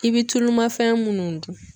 I bɛ tulumafɛn minnu dun.